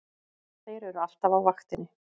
Þeir eru alltaf á vaktinni!